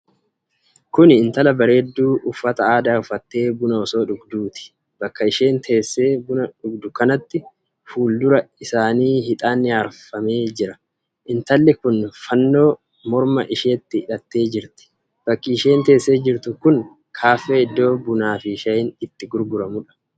Kuni intala bareeddu uffata aadaa uffattee buna osoo dhugduuti. Bakka isheen teessee buna dhugdu kanatti, fuudura isaatti hixaanni aarfamee jira. Intalli kun Fannoo morma isheetti hidhattee jirti. Bakki isheen teessee jirtu kun kaaffee iddo buunniifi shaayiin itti gurguramudha.